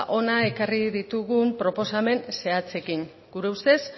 hona ekarri ditugun proposamen zehatzekin gure ustez